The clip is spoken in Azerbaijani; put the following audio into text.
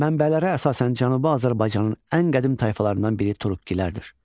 Mənbələrə əsasən Cənubi Azərbaycanın ən qədim tayfalarından biri Turukkilərdir.